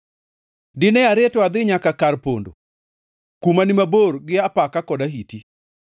dine areto adhi nyaka kara mar pondo, kuma ni mabor gi apaka kod ahiti.”